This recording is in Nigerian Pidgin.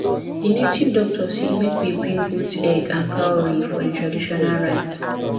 the native doctor say make we bring goat egg and cowry for the traditional rites